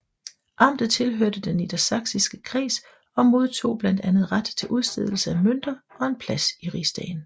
Amtet tilhørte den Niedersachsiske Kreds og modtog blandt andet ret til udstedelse af mønter og en plads i rigsdagen